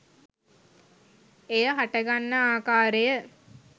එය හටගන්නා ආකාරය